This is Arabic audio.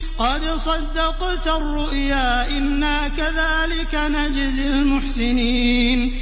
قَدْ صَدَّقْتَ الرُّؤْيَا ۚ إِنَّا كَذَٰلِكَ نَجْزِي الْمُحْسِنِينَ